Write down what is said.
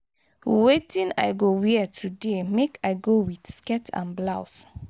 wetin i go wear today make i go with skirt and blouse